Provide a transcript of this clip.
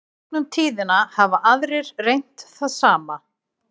í gegnum tíðina hafa aðrir reynt það sama